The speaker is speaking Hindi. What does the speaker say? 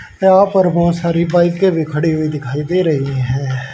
यहां पार्किंग में बहोत सारी बाईकें भी खड़ी हुई दिखाई दे रही हैं।